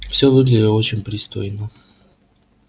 всё выглядело очень пристойно